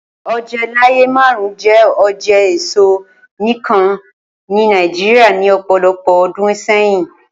Oje laaye marun jẹ oje eso nikan ni Nigeria ni ọpọlọpọ ọdun sẹyin.